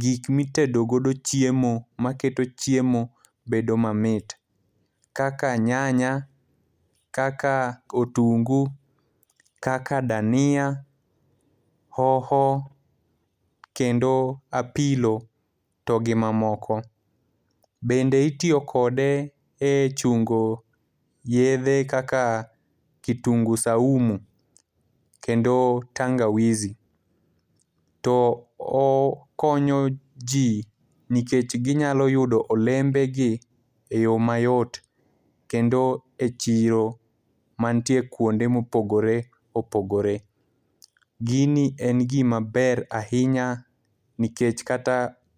Gik ma itedo godo chiemo maketo chiemo bedo mamit. Kaka nyanya, kaka otungu, kaka dania, hoho, kendo apilo to gi mamoko. Bende itiyo kode e chungo yiedhe kaka kitungu saumu, kendo tangawizi. To okonyo ji nikech ginyalo yudo olembe gi e yo mayot, kendo e chiro manitie kuonde ma opogore opogore. Gini en gima ber ahinya, nikech kata ka.